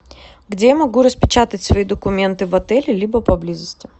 где я могу распечатать свои документы в отеле либо поблизости